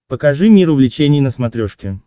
покажи мир увлечений на смотрешке